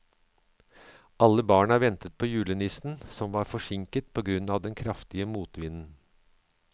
Alle barna ventet på julenissen, som var forsinket på grunn av den kraftige motvinden.